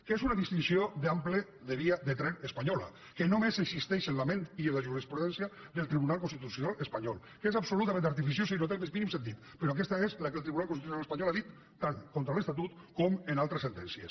que és una distinció d’ample de via de tren espanyola que només existeix en la ment i en la jurisprudència del tribunal constitucional espanyol que és absolutament artificiosa i no té el més mínim sentit però aquesta és la que el tribunal constitucional ha dit tant contra l’estatut com en altres sentències